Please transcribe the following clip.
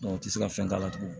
u ti se ka fɛn k'a la tugun